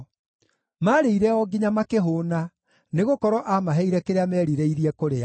Maarĩire o nginya makĩhũũna, nĩgũkorwo aamaheire kĩrĩa merirĩirie kũrĩa.